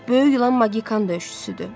Böyük ilan magikan döyüşçüsüdür.